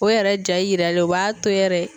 O yɛrɛ ja yiralen o b'a to yɛrɛ.